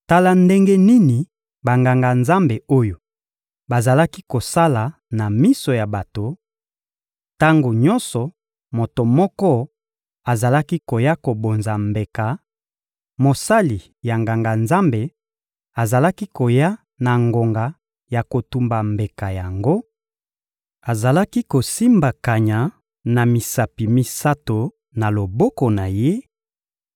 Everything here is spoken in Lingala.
Tala ndenge nini Banganga-Nzambe oyo bazalaki kosala na miso ya bato: tango nyonso moto moko azalaki koya kobonza mbeka, mosali ya Nganga-Nzambe azalaki koya na ngonga ya kotumba mbeka yango, azalaki kosimba kanya ya misapi misato na loboko na ye,